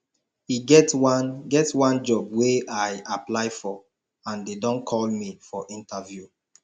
e get one get one job wey i apply for and dey don call me for interview